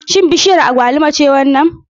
Shin bishiyar agwaluma ce wannan?